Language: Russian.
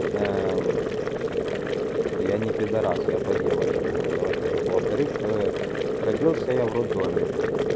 я не пидарас я по девочкам это во-первых во-вторых родился я в роддоме